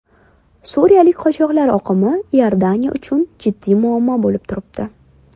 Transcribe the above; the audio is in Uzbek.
Suriyalik qochoqlar oqimi Iordaniya uchun jiddiy muammo bo‘lib turibdi.